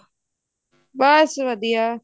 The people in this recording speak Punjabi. ਬਸ ਵਧੀਆ